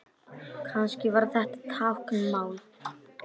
Kannski var þetta táknmál?